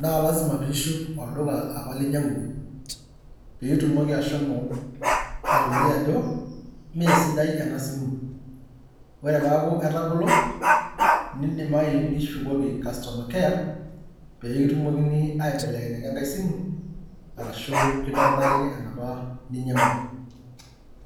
naa lasima pishuk olduka apa linyangunyie piitumoki ashomo atolikioi ajo mmee sidai ena simu . ore peaku etagolo nim`dimayu nishukoki customer care pee kitumokini aibelekenyaki enkae simu arashu kintobirakini enapa ninyangwa